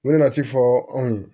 U nana ci fɔ anw ye